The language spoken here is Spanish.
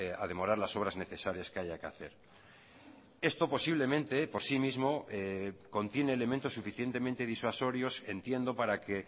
a demorar las obras necesarias que haya que hacer esto posiblemente por sí mismo contiene elementos suficientemente disuasorios entiendo para que